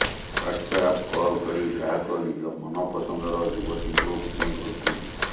WhatsApp call କରି ଗ୍ରାହକ ନିଜ ମନପସନ୍ଦର ଯୁବତୀଙ୍କୁ ବୁକିଂ କରୁଛନ୍ତି